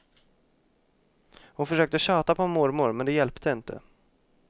Hon försökte tjata på mormor, men det hjälpte inte.